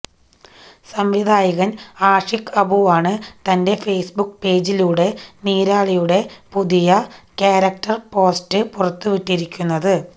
സംവിധായകന് ആഷിഖ് അബുവാണ് തന്റെ ഫേസ്ബുക്ക് പേജിലൂടെ നീരാളിയുടെ പുതിയ ക്യാരക്ടര് പോസ്റ്റര് പുറത്തുവിട്ടിരിക്കുന്നത്